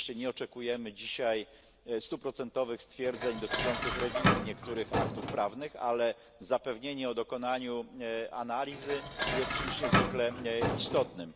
Oczywiście nie oczekujemy dzisiaj stuprocentowych stwierdzeń dotyczących rewizji niektórych aktów prawnych, ale zapewnienie o dokonaniu analizy jest czymś niezwykle istotnym.